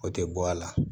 O tɛ bɔ a la